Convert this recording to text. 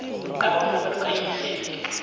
abomma baluka imiseme